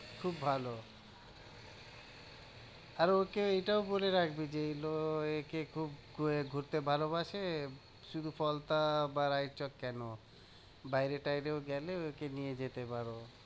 খুব ভালো আর ওকে এটাও বলে রাখবি যে একে খুব আহ ঘুরতে ভালোবাসে, শুধু পলতা বা রায়চক কেন? বাইরে টাইরেও গেলে একে নিয়ে যেতে পারো।